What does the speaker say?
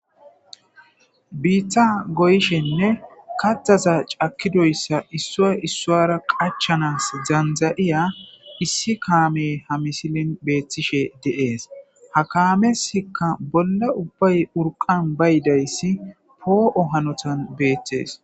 Biitha goyishenne kataza cakidoyssa issua issuara qachanas zanza'iya issi kaame ha misilin beethtishe deees ha kaamesikka bolla ubbay urqan baydayssi poo'o hanotan beettes